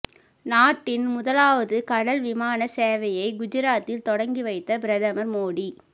நாட்டின் முதலாவது கடல் விமான சேவையை குஜராத்தில் தொடங்கி வைத்த பிரதமர் மோடி